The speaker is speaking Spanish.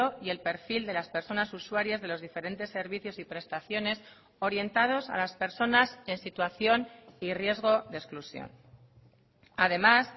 y el perfil de las personas usuarias de los diferentes servicios y prestaciones orientados a las personas en situación y riesgo de exclusión además